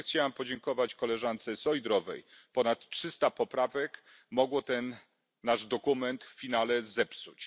Na koniec chciałam podziękować koleżance Šojdrovej ponad trzysta poprawek mogło ten nasz dokument w finale zepsuć.